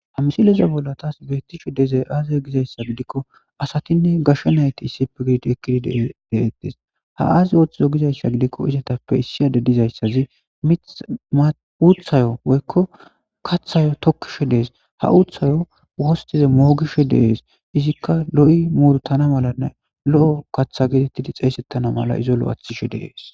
Ha misilezani bolla tasi betishe dizayii aze gidayissa gidikoassati gashe nayit eqi deyisi betesi ha assayi ayi ithize gidayisa gidiko issi adeyi mitha woyiko katha tokishe desi ha utha mogishe deyesi izika loyi murutana mala xesetan loathi madesi